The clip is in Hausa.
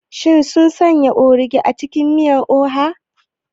Shin sun sanya ogiri a cikin miyar oha?